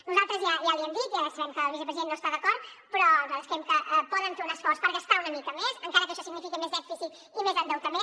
nosaltres ja l’hi hem dit ja sabem que el vicepresident no hi està d’acord però nosaltres creiem que poden fer un esforç per gastar una mica més encara que això signifiqui més dèficit i més endeutament